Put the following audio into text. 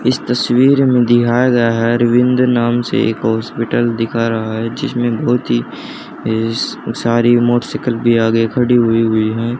इस तस्वीर में दिखाया गया है। अरविंद नाम से एक हॉस्पिटल दिखा रहा है जिसमें बहोत ही सारी मोटरसाइकिल भी आगे खड़ी हुई है।